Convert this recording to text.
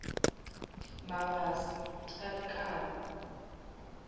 mabasa a ri karhi a